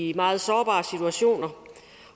i meget sårbare situationer